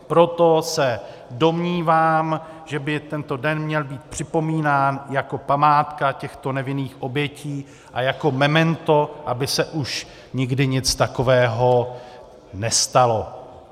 Proto se domnívám, že by tento den měl být připomínán jako památka těchto nevinných obětí a jako memento, aby se už nikdy nic takového nestalo.